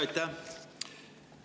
Aitäh!